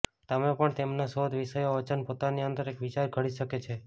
તમે પણ તેમના શોધ વિષયો વચન પોતાની અંદર એક વિચાર ઘડી શકે છે